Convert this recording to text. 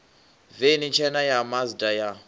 veni tshena ya mazda ya